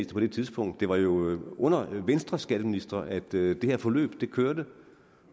på det tidspunkt det var jo under venstreskatteministre at det her forløb kørte